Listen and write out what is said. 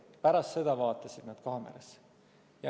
Pärast seda vaatasid nad kaamerasse.